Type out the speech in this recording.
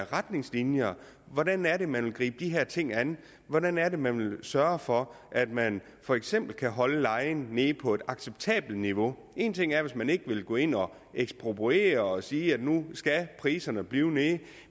retningslinjer hvordan er det man vil gribe de her ting an hvordan er det man vil sørge for at man for eksempel kan holde lejen nede på et acceptabelt niveau én ting er at man ikke vil gå ind og ekspropriere og sige at nu skal priserne blive nede